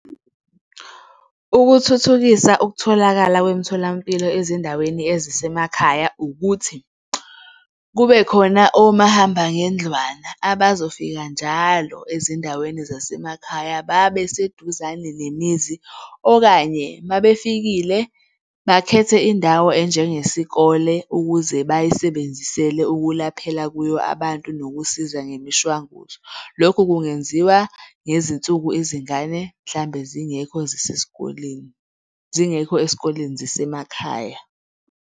Ukuthuthukisa ukutholakala kwemtholampilo ezindaweni ezisemakhaya ukuthi kube khona omahamba ngendlwana abazofika njalo ezindaweni zasemakhaya babe seduzane nemizi okanye uma befikile bakhethe indawo enjenge sikole ukuze bayisebenzisele ukulaphela kuyo abantu nokusiza ngemishwanguzo. Lokhu kungenziwa ngezinsuku izingane mhlambe zingekho zisesikoleni, zingekho esikoleni zisemakhaya.